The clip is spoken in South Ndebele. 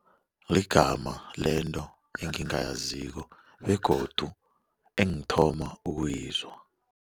Wegama lento engingayaziko begodu engithoma ukuyizwa.